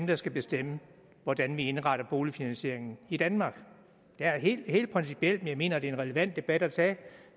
der skal bestemme hvordan vi indretter boligfinansieringen i danmark det er helt principielt og jeg mener det er en relevant debat at tage